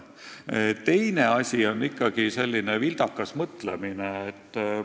Teine asi on ikkagi selline vildakas mõtlemine.